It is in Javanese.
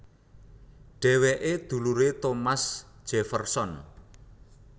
Dhéwéké duluré Thomas Jefferson